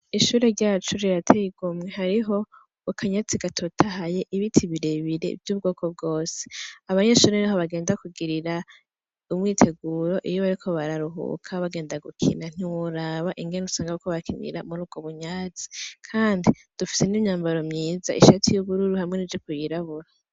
Ishure ryacu rirateye igomwe. Hariho akanyatsi gatoyahaye, ibiti birebire vy'ubwoko bwose. Abanyeshure niho bagenda kugirira umwiteguro iyo bariko bararuhuka, bagenda gukina ntiworaba ingene usanga bariko barakinira muri ubwo bunyatsi kandi dufise n'imyambaro myiza, ishati y'ubururu hamwe n'ijipo yirabura.